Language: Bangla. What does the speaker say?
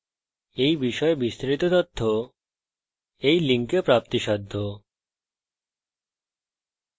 এই বিষয়ে বিস্তারিত তথ্য এই link প্রাপ্তিসাধ্য spoken hyphen tutorial dot org slash nmeict hyphen intro